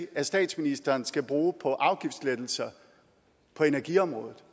at statsministeren skal bruge på afgiftslettelser på energiområdet